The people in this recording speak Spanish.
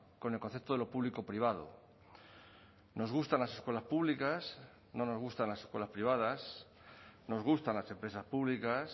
con el concepto de lo público privado nos gustan las escuelas públicas no nos gustan las escuelas privadas nos gustan las empresas públicas